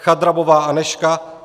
Chadrabová Anežka